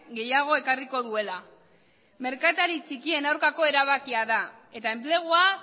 gehiago ekarriko duela merkatari txikien aurkako erabakia da eta enplegua